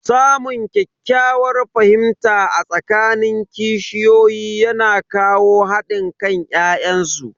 Samun ƙyakkyawar fahimta a tsakanin kishiyoyi yana kawo hadin kan ya'yan su.